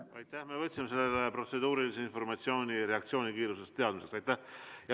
Me võtsime selle protseduurilise informatsiooni teie reaktsioonikiirusest teadmiseks.